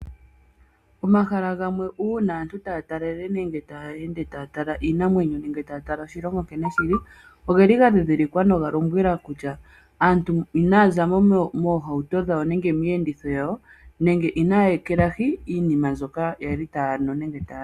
Omahala gamwe uuna aantu tayeende taya talele nenge taya tala iinamwenyo nenge taya tala oshilongo nkene shili, ogeli gadhidhilikwa noga lombwela kutya aantu inaya zamo moohauto dhawo nenge miiyenditho yawo nenge inaya ekelahi iinima mbyoka yali taya nu nenge tayali.